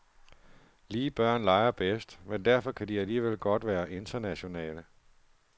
Lige børn leger bedst, men derfor kan de alligevel godt være internationale.